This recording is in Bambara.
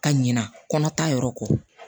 Ka ɲina kɔnɔ ta yɔrɔ ko